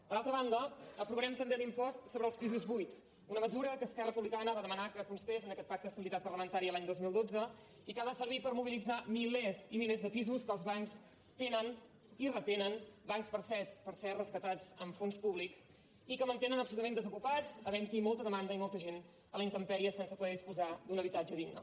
per altra banda aprovarem també l’impost sobre els pisos buits una mesura que esquerra republicana va demanar que constés en aquest pacte d’estabilitat parlamentària l’any dos mil dotze i que ha de servir per mobilitzar milers i milers de pisos que els bancs tenen i retenen bancs per cert rescatats amb fons públics i que mantenen absolutament desocupats haventhi molta demanda i molta gent a la intempèrie sense poder disposar d’un habitatge digne